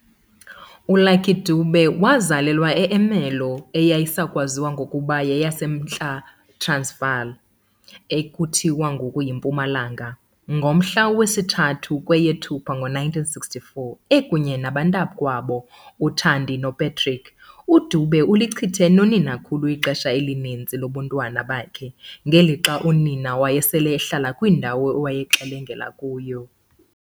ULucky Dube wazalelwa eErmelo, eyayisayakwaziwa ngokuba yeyaseMntla Transvaal, ekuthiwa ngoku yiMpumalanga, ngomhla wesi-3 kweyeThupha ngo1964. Ekunye nabantakwabo, uThandi noPatrick, uDube ulichithe noninakhulu ixesha elininzi lobuntwana bakhe, ngelixa unina wayesele ehlala kwindawo awayexelenga kuyo.